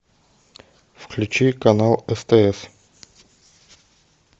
включи канал стс